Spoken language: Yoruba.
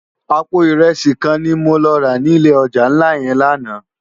Àpó irési kán ni mó rá ni ilé òjá nlá yèn làná